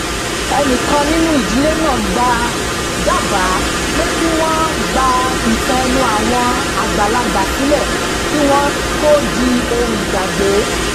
ẹnìkan nínú ìdílé náà dábàá pé kí wọ́n gba ìtàn ẹnu àwọn àgbàlagbà sílẹ̀ kí wọ́n tó di ohun ìgbàgbé